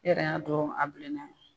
E yɛrɛ y'a dɔn a bilenna